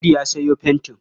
Audu ya sayo fentin.